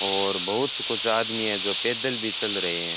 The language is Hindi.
और बहुत कुछ आदमी है जो पैदल भी चल रहे हैं।